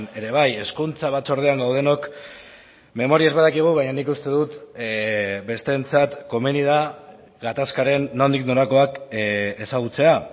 ere bai hezkuntza batzordean gaudenok memoriaz badakigu baina nik uste dut besteentzat komeni da gatazkaren nondik norakoak ezagutzea